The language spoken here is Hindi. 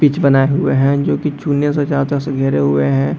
पिच बनाए हुए हैं जो की चुन्ने से चारों तरफ से घेरे हुए हैं।